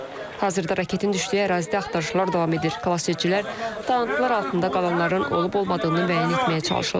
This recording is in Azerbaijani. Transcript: Hazırda raketin düşdüyü ərazidə axtarışlar davam edir, xilasedicilər dağıntılar altında qalanların olub-olmadığını müəyyən etməyə çalışırlar.